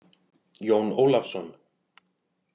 Jón Ólafsson.